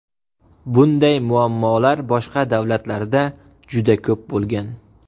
Bunday muammolar boshqa davlatlarda juda ko‘p bo‘lgan.